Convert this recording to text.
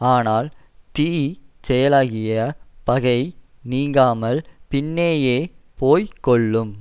ஆனால் தீ செயலாகிய பகை நீங்காமல் பின்னேயே போய் கொல்லும்